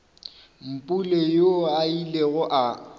mpule yoo a ilego a